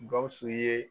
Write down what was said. Gawusu ye